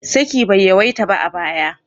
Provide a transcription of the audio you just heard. Saki bai yawaita ba a baya.